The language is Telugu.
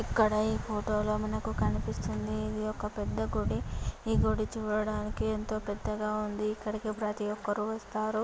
ఇక్కడ ఈ ఫొటోలో మనకు కనిపిస్తుంది. ఇది ఒక పెద్ద గుడి ఈ గుడి చూడటానికి ఎంతో పెద్దగా ఉంది. ఇక్కడికి ప్రతి ఒక్కరు వస్తారు.